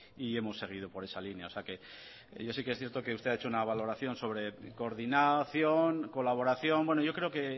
y hemos seguido por esa línea o sea que yo sí que es cierto que usted ha hecho una valoración sobre coordinación y colaboración bueno yo creo que